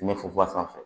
Ɲɛ funfun a sanfɛ